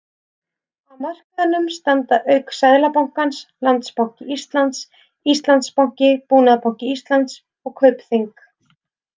Að markaðnum standa auk Seðlabankans, Landsbanki Íslands, Íslandsbanki, Búnaðarbanki Íslands og Kaupþing.